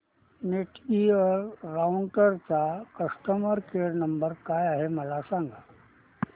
Netgear राउटरचा customer care number काय आहे मला सांग